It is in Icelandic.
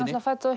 fædd og